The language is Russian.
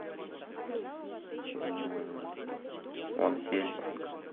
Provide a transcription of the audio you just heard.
ван хельсинг